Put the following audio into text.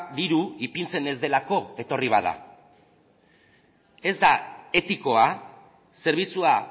diru ipintzen ez delako etorri bada ez da etikoa zerbitzua